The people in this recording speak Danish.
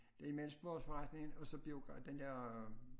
Det imellem sportsforretningen og så den der